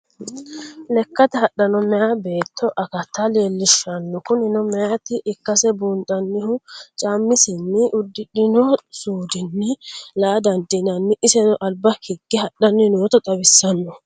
Lekkate hadhanno meya beeto akkatta leellishanmo, kunino meyata ikkase buunxanihu caamisenninna udidhino suudinni la'a dandinanni, isenno aliba hige hadhani noota xawisanno